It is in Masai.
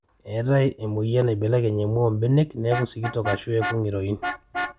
eetae emueyian naibelekeny emua oombenek neeku sikitok aashu eeku ng'iroin